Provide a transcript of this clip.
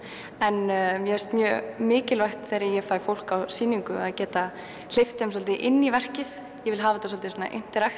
en mér finnst mjög mikilvægt þegar ég fæ fólk á sýningu að geta hleypt þeim svolítið inn í verkið ég vil hafa þetta svolítið